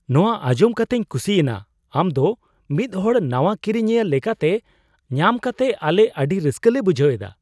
ᱱᱚᱶᱟ ᱟᱸᱡᱚᱢ ᱠᱟᱛᱮᱧ ᱠᱩᱥᱤᱭᱮᱱᱟ ! ᱟᱢ ᱫᱚ ᱢᱤᱫ ᱦᱚᱲ ᱱᱟᱣᱟ ᱠᱤᱨᱤᱧᱤᱭᱟᱹ ᱞᱮᱠᱟᱛᱮ ᱧᱟᱢ ᱠᱟᱛᱮ ᱟᱞᱮ ᱟᱹᱰᱤ ᱨᱟᱥᱠᱟᱹ ᱞᱮ ᱵᱩᱡᱷᱟᱹᱣ ᱮᱫᱟ ᱾